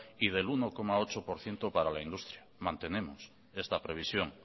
y del uno coma ocho por ciento parala industria mantenemos esta previsión